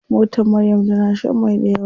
Motar Maryam tana shan mai dayawa.